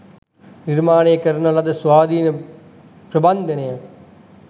නිර්මාණය කරන ලද ස්වාධීන ප්‍රබන්ධයන්ය.